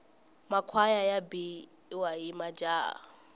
makhwaya ya biwa hi majaha